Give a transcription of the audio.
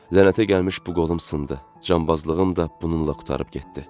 Lənətə gəlmiş bu qolum sındı, canbazlığım da bununla qurtarıb getdi.